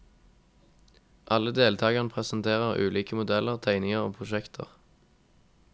Alle deltagerne presenterer ulike modeller, tegninger og prosjekter.